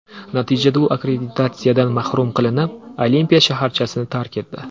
Natijada u akkreditatsiyadan mahrum qilinib, olimpiya shaharchasini tark etdi.